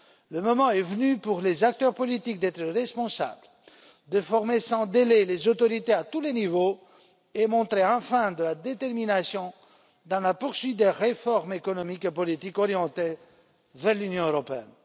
Le moment est venu pour les acteurs politiques d'être responsables, de former sans délai les autorités à tous les niveaux et de montrer enfin de la détermination dans la poursuite des réformes économiques et politiques orientées vers l'Union européenne.